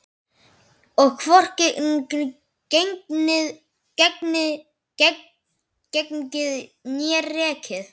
Og hvorki gengið né rekið.